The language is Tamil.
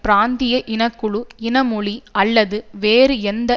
பிராந்திய இனக்குழு இன மொழி அல்லது வேறு எந்த